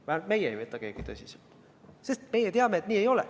Vähemalt meist keegi ei võta seda tõsiselt, sest meie teame, et nii ei ole.